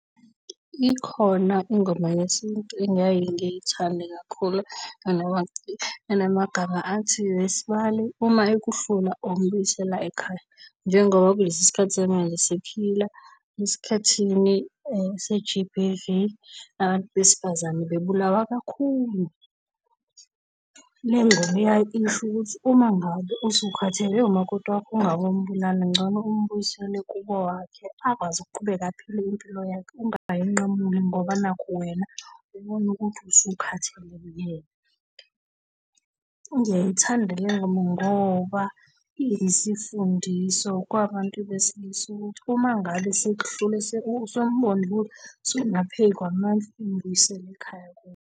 Ikhona ingoma yesintu engiyaye ngiyithande kakhulu enamagama athi, wesibali uma ekuhlula ombuyisela ekhaya. Njengoba kulesi sikhathi samanje siphila esikhathini se-G_B_V, abantu besifazane bebulawa kakhulu. Le ngoma isho ukuthi uma ngabe usukhathele umakoti wakho, ungabombulala, ngcono umbuyisele kubo kwakhe, akwazi ukuqhubeka aphile impilo yakhe. Ungayinqamuli ngoba nakhu wena ubone ukuthi usukhathele uyena. Ngiyayithanda le ngoma ngoba iyisifundiso kwabantu besilisa ukuthi uma ngabe sekuhlule, usumbona ukuthi sokungaphezu kwamandla, mbuyisele ekhaya kubo.